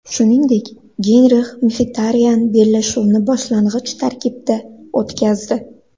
Shuningdek, Genrix Mxitaryan bellashuvni boshlang‘ich tarkibda o‘tkazdi.